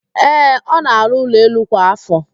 Ee, ọ na-àrụ́ ụlọelu kwa ạfọ.